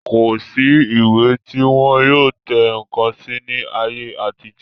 Kò sí ìwé tí wọn yóò tẹ ǹkan sí ní ayé àtijọ́